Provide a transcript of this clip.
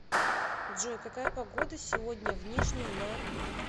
джой какая погода сегодня в нижнем на